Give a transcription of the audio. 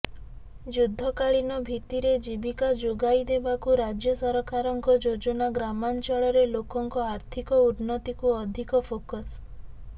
ଯୁଦ୍ଧକାଳୀନ ଭିତ୍ତିରେ ଜୀବିକା ଯୋଗାଇଦେବାକୁ ରାଜ୍ୟ ସରକାରଙ୍କ ଯୋଜନା ଗ୍ରାମାଂଚଳ ରେ ଲୋକଙ୍କ ଆର୍ଥିକ ଉନ୍ନତିକୁ ଅଧିକ ଫୋକସ୍